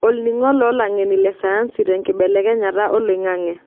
Olningo loolangeni le sayansi tenkibelekenyata oloing'ang'e.